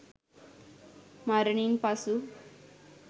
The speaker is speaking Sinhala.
මරණින් පසු